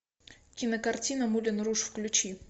кинокартина мулен руж включи